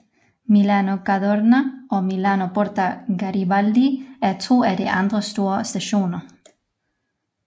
Milano Cadorna og Milano Porta Garibaldi er to af de andre store stationer